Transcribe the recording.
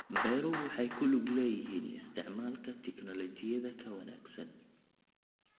Beeruhu waxay ku lug leeyihiin isticmaalka tignoolajiyada ka wanaagsan.